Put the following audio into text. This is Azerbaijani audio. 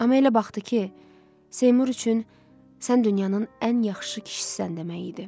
Amma elə baxdı ki, Seymur üçün sən dünyanın ən yaxşı kişisən demək idi.